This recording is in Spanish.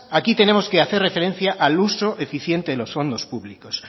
aquí tenemos que hacer referencia al uso eficiente de los fondos públicos